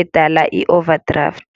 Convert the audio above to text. edala i-overdraft.